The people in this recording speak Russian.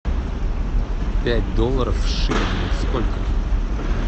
пять долларов в шиллингах сколько